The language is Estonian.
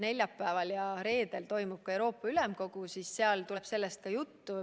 Neljapäeval ja reedel toimub Euroopa Ülemkogu ja seal tuleb sellest ka juttu.